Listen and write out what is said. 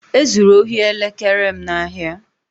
E zuru ohi elekere m n'ahịa